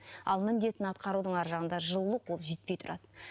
ал міндетін атқарудың ар жағында жылулық ол жетпей тұрады